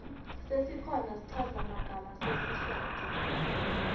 sesikhona schaza magama sesiswati